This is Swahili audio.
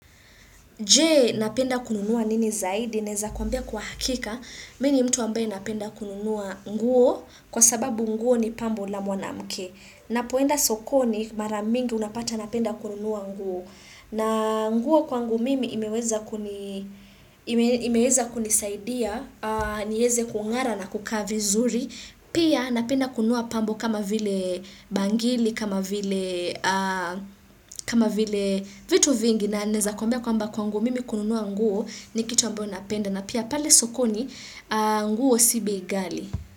Je napenda kununua nini zaidi, naeza kuambia kwa hakika. Mini mtu ambaye napenda kununua nguo kwa sababu nguo ni pambo la mwanamke. Na poenda sokoni maramingi unapata napenda kununua nguo. Na nguo kwa ngu mimi imeweza kunisaidia, nieze kungara na kuka vizuri. Pia napenda kunua pambo kama vile bangili, kama vile vitu vingi. Na neza kuambia kwamba kwa nguo mimi kununuwa nguo ni kitu ambayo napenda na pia pale sokoni nguo sibei gali.